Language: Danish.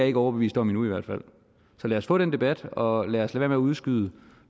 ikke overbevist om endnu så lad os få den debat og lad os med at udskyde